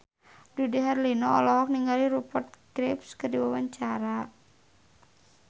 Dude Herlino olohok ningali Rupert Graves keur diwawancara